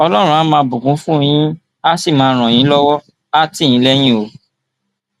ọlọrun àá máa bùkún fún yín àá sì máa ràn yín lọwọ àá tì yín lẹyìn o